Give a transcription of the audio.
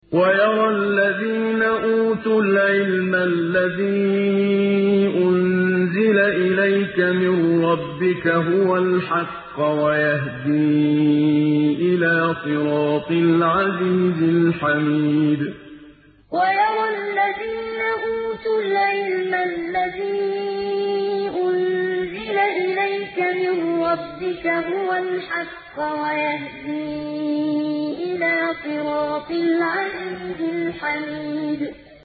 وَيَرَى الَّذِينَ أُوتُوا الْعِلْمَ الَّذِي أُنزِلَ إِلَيْكَ مِن رَّبِّكَ هُوَ الْحَقَّ وَيَهْدِي إِلَىٰ صِرَاطِ الْعَزِيزِ الْحَمِيدِ وَيَرَى الَّذِينَ أُوتُوا الْعِلْمَ الَّذِي أُنزِلَ إِلَيْكَ مِن رَّبِّكَ هُوَ الْحَقَّ وَيَهْدِي إِلَىٰ صِرَاطِ الْعَزِيزِ الْحَمِيدِ